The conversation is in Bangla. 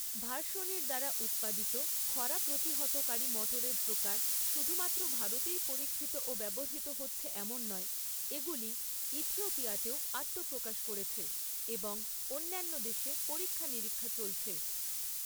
ভার্শনির দ্বারা উৎপাদিত খরা প্রতিহতকারী মটরের প্রকার শুধুমাত্র ভারতেই পরীক্ষিত ও ব্যবহৃত হচ্ছে এমন নয়, এগুলি ইথিওপিয়াতেও আত্মপ্রকাশ করেছে এবং অন্যান্য দেশে পরীক্ষা নিরীক্ষা চলছে।